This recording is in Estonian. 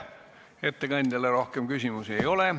Ettekandjale rohkem küsimusi ei ole.